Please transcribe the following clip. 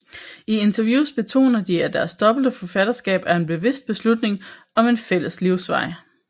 I interviews betoner de at deres dobbelte forfatterskab er en bevidst beslutning om en fælles livsvej